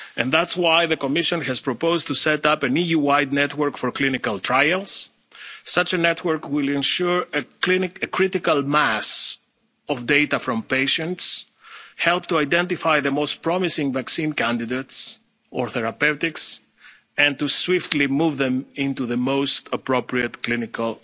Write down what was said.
solutions. That's why the Commission has proposed that an EU-wide network for clinical trials be set up. Such a network will ensure a critical mass of data from patients, help to identify the most promising vaccine candidates or therapeutics, and swiftly move them into the most appropriate